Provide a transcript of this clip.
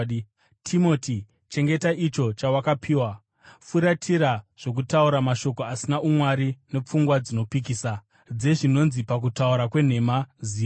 Timoti, chengeta icho chawakapiwa. Furatira zvokutaura mashoko asina umwari nepfungwa dzinopikisa, dzezvinonzi pakutaura kwenhema zivo,